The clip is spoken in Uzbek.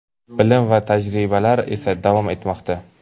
bilim va tajribalar esa davom etmoqda.